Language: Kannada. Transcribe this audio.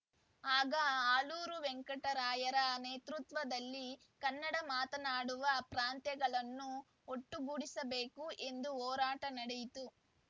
ಆಗ ಆಲೂರು ವೆಂಕಟರಾಯರ ನೇತೃತ್ವದಲ್ಲಿ ಕನ್ನಡ ಮಾತನಾಡುವ ಪ್ರಾಂತ್ಯಗಳನ್ನು ಒಟ್ಟುಗೂಡಿಸಬೇಕು ಎಂದು ಹೋರಾಟ ನಡೆಯಿತು